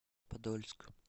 подольск